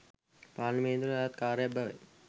පාර්ලිමේන්තුවට අයත් කාර්යයක් බවයි